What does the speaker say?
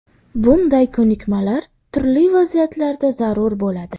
Bunday ko‘nikmalar turli vaziyatlarda zarur bo‘ladi.